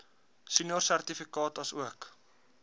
senior sertifikaat asook